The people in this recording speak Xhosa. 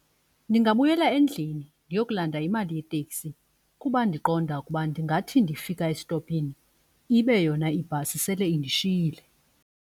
Ndingabuyela endlini ndiyokulanda imali yeteksi kuba ndiqonda ukuba ndingathi ndifika esitopini ibe yona ibhasi sele indishiyile.